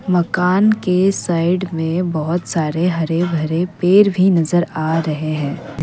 मकान के साइड में बहुत सारे हरे भरे पेड़ भी नजर आ रहे हैं।